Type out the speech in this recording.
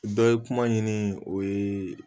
Dɔ ye kuma ɲini o ye